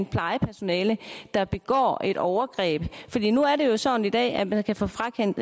plejepersonale der begår et overgreb nu er det jo sådan i dag at man kan få frakendt